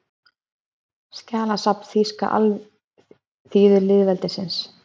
Skjalasafn Þýska alþýðulýðveldisins